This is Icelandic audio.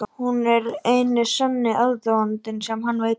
Hún er eini sanni aðdáandinn sem hann veit um.